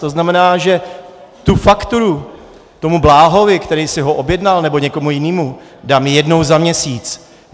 To znamená, že tu fakturu tomu Bláhovi, který si ho objednal, nebo někomu jinému, dám jednou za měsíc.